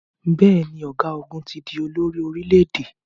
Bẹ́ẹ̀ ni, ọ̀gágun ti di olórí orílẹ̀-èdè.